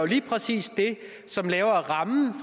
lige præcis det som laver rammen